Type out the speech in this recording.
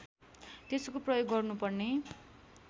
त्यसको प्रयोग गर्नुपर्ने